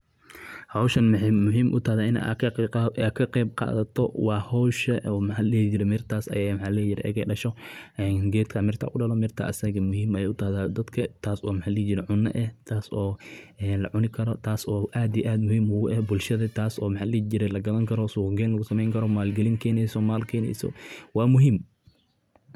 Howshan waxey muhim u tahay waa taso gedkan marku miraha dalo. Mirta ayada ah dadka ayey muhim u tahay taas oo cunada ah oo lacuni karo oo aad iyo aad muhim ugu eh bulshada taas oo lagadan karo oo suq geyn lagu sumeyn karo oo maal keneso waa muhim.